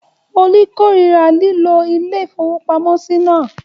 Olú korira lílo ilé-ìfowópamọ́sí náà?